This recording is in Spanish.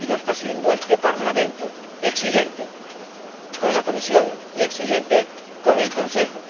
Y lo está haciendo este Parlamento, exigente con la Comisión y exigente con el Consejo.